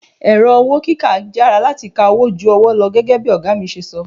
Ẹ̀rọ owó kíkà yára láti ka owó ju ọwọ́ lọ gẹ́gẹ́ bí ọ̀gá mi ṣe sọ.